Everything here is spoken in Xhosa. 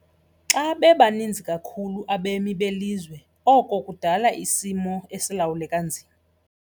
Xa bebaninzi kakhulu abemi belizwe oko kudala isimo esilawuleka nzima.